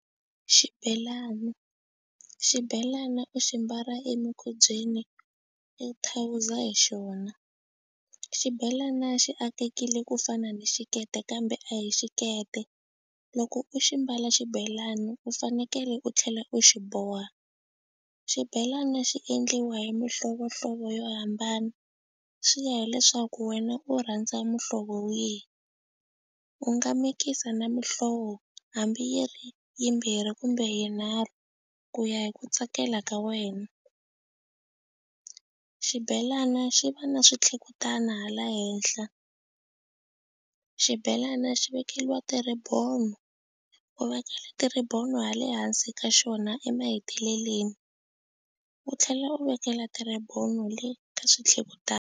Xibelana xibelana u xi mbala emukhubyeni i thawuza hi xona xibelana xi akekile ku fana ni xikete kambe a hi xikete loko u xi mbala xibelani u fanekele u tlhela u xi boha xibelana xi endliwa hi mihlovohlovo yo hambana xi ya hileswaku wena u rhandza muhlovo wihi u nga mikisa na mihlovo hambi yi ri yimbirhi kumbe yinharhu ku ya hi ku tsakela ka wena xibelana xi va na switlhekutana hala henhla xibelana xi vekeliwa ti-ribbon u vekela ti-ribbon ha le hansi ka xona emaheteleleni u tlhela u vekela ti-ribbon le ka .